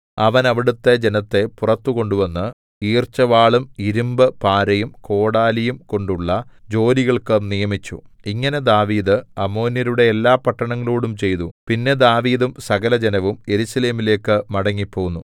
അവൻ അവിടുത്തെ ജനത്തെ പുറത്തു കൊണ്ടുവന്ന് ഈർച്ചവാളും ഇരുമ്പ് പാരയും കോടാലിയും കൊണ്ടുള്ള ജോലികൾക്ക് നിയമിച്ചു ഇങ്ങനെ ദാവീദ് അമ്മോന്യരുടെ എല്ലാപട്ടണങ്ങളോടും ചെയ്തു പിന്നെ ദാവീദും സകലജനവും യെരൂശലേമിലേക്കു മടങ്ങിപ്പോന്നു